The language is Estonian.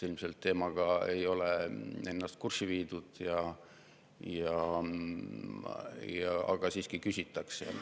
Ilmselt teemaga ei ole ennast kurssi viidud, ent siiski küsitakse.